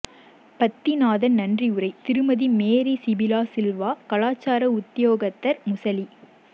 பத்திநாதன் நன்றியுரை திருமதி மேரி சிபிலா சில்வா கலாசார உத்தியோகத்தர் முசலி